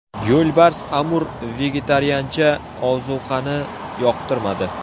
Yo‘lbars Amur vegetariancha ozuqani yoqtirmadi.